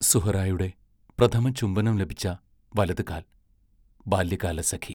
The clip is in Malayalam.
സുഹ്റായുടെ പ്രഥമ ചുംബനം ലഭിച്ച വലതുകാൽ ബാല്യകാലസഖി